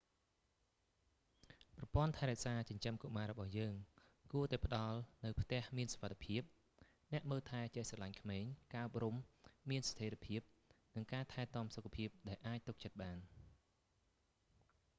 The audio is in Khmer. ប្រព័ន្ធថែរក្សាចិញ្ចឹមកុមាររបស់យើងគួរតែផ្តល់នូវផ្ទះមានសុវត្ថិភាព អ្នកមើលថែចេះស្រឡាញ់ក្មេង ការអប់រំមានស្ថេរភាព និងការថែទាំសុខភាពដែលអាចទុកចិត្តបាន